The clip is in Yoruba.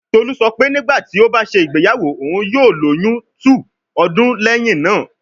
Tolu sọ pe nigbati o ba ṣe igbeyawo, oun yoo loyun 2 ọdun lẹhin naa